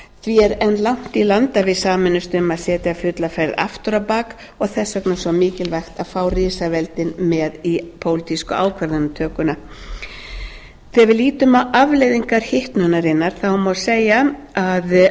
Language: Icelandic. því er enn langt í land að við sameinumst um að setja fulla ferð aftur á bak og þess vegna svo mikilvæga að fá risaveldin með í pólitísku ákvarðanatökuna þegar við lítum á afleiðingar hitnunarinnar má segja að